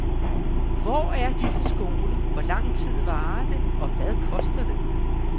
Hvor er disse skoler, hvor lang tid varer det og hvad koster det?